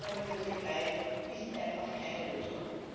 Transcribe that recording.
Dieses Abkommen mit der Türkei ist einfach keine Lösung.